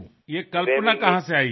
এই ভাবনাটা আপনার মাথায় কি করে এলো